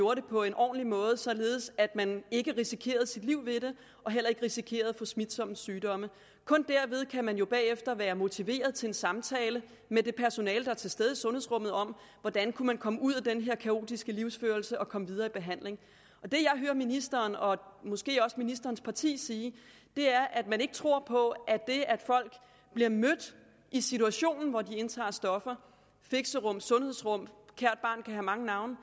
det på en ordentlig måde således at man ikke risikerer sit liv ved det og heller ikke risikerer at få smitsomme sygdomme kun derved kan man jo bagefter være motiveret til en samtale med det personale der er til stede i sundhedsrummet om hvordan man kan komme ud af den her kaotiske livsførelse og komme videre i behandling det jeg hører ministeren og måske også ministerens parti sige er at man tror på at det at folk bliver mødt i situationen hvor de indtager stoffer i fixerum sundhedsrum kært barn kan have mange navne